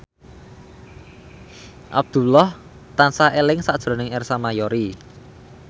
Abdullah tansah eling sakjroning Ersa Mayori